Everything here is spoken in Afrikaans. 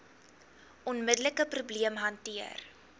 onmiddelike probleem hanteer